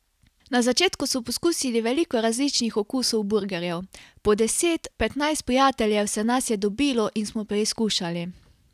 Na začetku so poskusili veliko različnih okusov burgerjev: "Po deset, petnajst prijateljev se nas je dobilo in smo preizkušali.